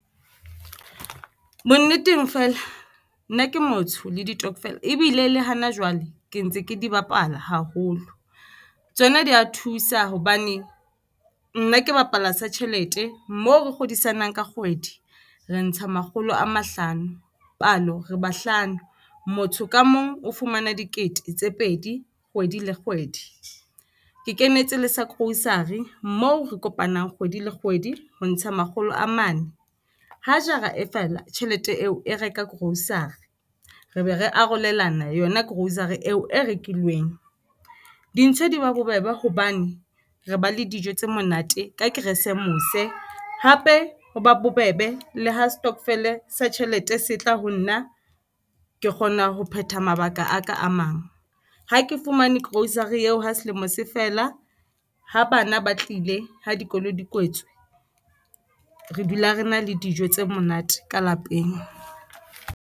Bonneteng feela nna ke motsho ke ditokofela ebile le hana jwale ke ntse ke di bapala haholo, tsona di a thusa hobane nna ke bapala sa tjhelete. Moo re kgodisanang kgwedi re ntsha makgolo a mahlano palo re bahlano. Motho ka mong o fumana dikete tse pedi kgwedi le kgwedi. Ke kenetse le sa grocery moo re kopanang kgwedi le kgwedi, ho ntsha makgolo a mane ho jara e fela tjhelete eo e reka grocery re be re arolelana yona grocery eo e rekilweng. Dintho di ba bobebe hobane re ba le dijo tse monate ka Keresemose. Hape, ho ba bobebe le ho setokofele sa tjhelete se tla ho nna ke kgona ho phetha mabaka a ka a mang ha ke fumane grocery eo ha selemo se fela. Ha bana ba tlile ha dikolo di kwetswe, re dula re na le dijo tse monate ka lapeng.